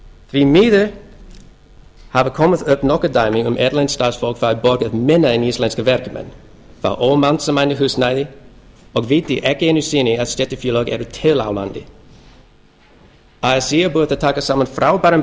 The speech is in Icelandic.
því miður hafa komið upp nokkur dæmi um að erlent starfsfólk fái borgað minna en íslenskir verkamenn fái ekki mannsæmandi húsnæði og viti ekki einu sinni að stéttarfélög eru til hér á landi así er búið að taka saman frábæran